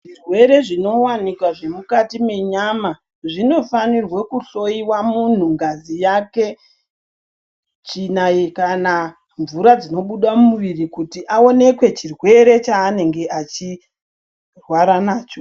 Zvirwere zvinowanikwa zvemukati menyama zvinofanirwe kuhloyiwa muntu ngazi yake chinai kana mvura dzinobuda mumuviri kuti aoneke chirwere chaanenge achirwara nacho.